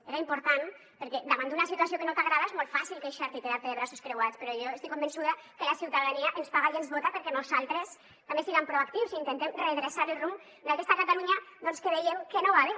era important perquè davant d’una situació que no t’agrada és molt fàcil queixar te i quedar te de braços creuats però jo estic convençuda que la ciutadania ens paga i ens vota perquè nosaltres també siguem proactius i intentem redreçar el rumb d’aquesta catalunya doncs que veiem que no va bé